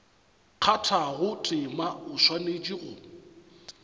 kgathago tema o swanetše go